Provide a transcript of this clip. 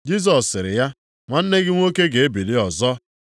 Jisọs sịrị ya, “Nwanne gị nwoke ga-ebili ọzọ.”